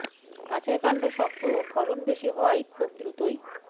গাছের কাণ্ড শক্ত ও ফলন বেশি হওয়ায় খুব দ্রুতই